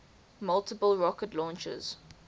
multiple rocket launchers